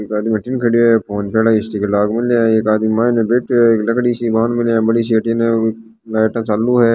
एक गाड़ी अठिन हैं फोन पे आरी स्टीकर के लाग रो है एक आदमी माइन बैठो है लकड़ी सी बांध मेली है बड़ी सी अठिन लाइट चालू है।